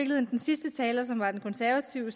den sidste taler som var den konservative